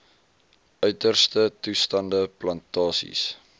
uiterste toestande plantasies